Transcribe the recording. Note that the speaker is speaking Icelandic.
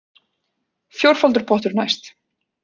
Fjórfaldur pottur næst